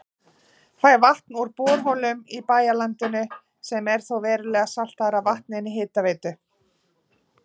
Fær vatn úr borholum í bæjarlandinu sem er þó verulega saltara en vatn Hitaveitu